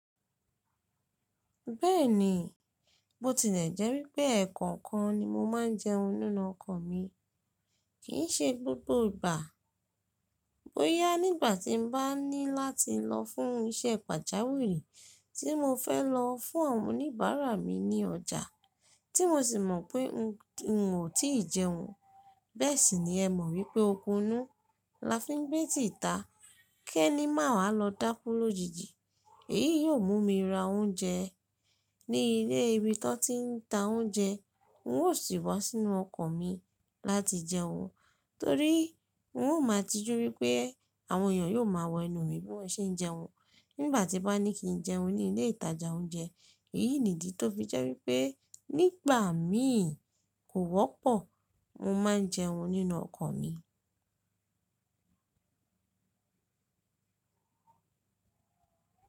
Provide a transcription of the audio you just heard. Bẹ́ẹ̀ni, bo tilẹ̀ jẹ́ wípẹ́ ẹ̀ẹ̀kọ̀kan ni mo máà ń jẹun nínú ọkọ̀ mi, kí í ṣe gbogbo ìgbà. Bóyá nígbà tí mo bá ní láti lọ fún iṣẹ́ pàjáwìrì tí mo fẹ́ lọ fún àwọn oníbàárà mi ní ọjà, tí mo sì mọ̀ pé n ò tí ì jẹun. Bẹ́ẹ̀ sì ni ẹ mọ̀ wípẹ́ okunú la fi ń gbé tìta. Kẹ́ ní màá lọ dákú lójijì. Èyí yóò mú mi ra oúnjẹ ní ilé ibi tó ti ń ta oúnjẹ. N ó sì wá sínú ọkọ̀ mi láti jẹun, torí n ó máa tijú wípẹ́ àwọn èèyàn yóò máa wọ ẹnú mi bí wọ́n ṣe ń jẹun nígbà tí bá ní kí n jẹun ní ilé ìtajà oúnjẹ. Èyí nìdí tó fi jẹ́ wípẹ́ nígbà míì kò wọ́pọ̀ mo máa ń jẹun nínú ọkọ̀ mi.